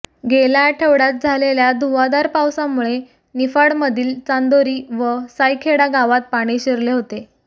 गेल्या आठवड्यात झालेल्या धुव्वाधार पावसामुळे निफाडमधील चांदोरी व सायखेडा गावात पाणी शिरले होते